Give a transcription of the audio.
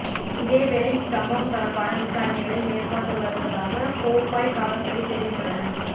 இதேவேளை இச் சம்பவம் தொடர்பான விசாரணைகளை மேற்கொண்டுவருவதாக கோப்பாய் காவற்துறை தெரிவித்துள்ளனர்